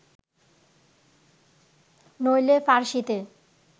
নইলে ফার্সীতে